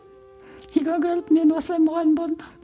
үйге келіп мен осылай мұғалім болдым